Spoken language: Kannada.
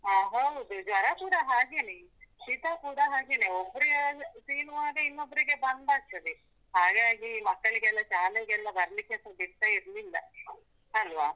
ಅದ್ ಹೌದು, ಜ್ವರ ಕೂಡ ಹಾಗೇನೇ, ಶಿತ ಕೂಡ ಹಾಗೇನೇ ಒಬ್ರು ಯಾರಾದ್ರು ಸೀನುವಾಗ ಇನ್ನೊಬ್ರಿಗೆ ಬಂದಾಗ್ತದೆ, ಹಾಗಾಗಿ ಮಕ್ಕಳಿಗೆಲ್ಲ ಶಾಲೆಗೆಲ್ಲ ಬರ್ಲಿಕ್ಕೆ ಸ ಬಿಡ್ತ ಇರ್ಲಿಲ್ಲ ಅಲ್ವಾ?